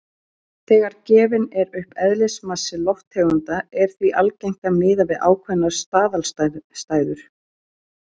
Þegar gefinn er upp eðlismassi lofttegunda er því algengt að miða við ákveðnar staðalaðstæður.